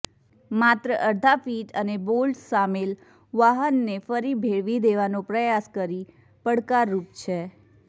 માત્ર અડધા ફીટ અને બોલ્ટ્સ સામેલ વાહનને ફરી ભેળવી દેવાનો પ્રયાસ કરી પડકારરૂપ છે